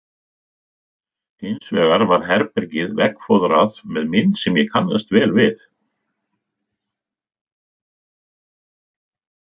Hins vegar var herbergið veggfóðrað með mynd sem ég kannaðist vel við.